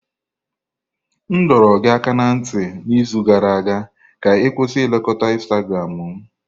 M dọrọ gị aka ná ntị n'izu gara aga ka ị kwụsị nlekota Instagramu m!